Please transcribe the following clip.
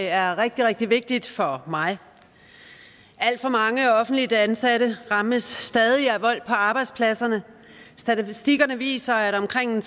er rigtig rigtig vigtigt for mig alt for mange offentligt ansatte rammes stadig af vold på arbejdspladsen statistikkerne viser at omkring